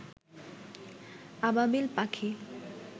আবাবিল পাখি